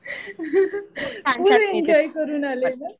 फुल enjoy करून आलीस ना.